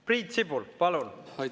Priit Sibul, palun!